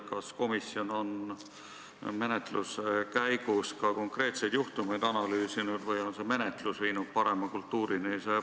Kas komisjon on menetluse käigus ka konkreetseid juhtumeid analüüsinud või on see menetlus viinud lihtsalt parema kultuurini?